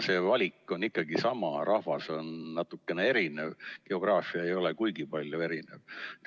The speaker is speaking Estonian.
See valik on ikkagi sama, rahvas on küll natukene erinev, aga geograafia ei ole kuigi palju erinev.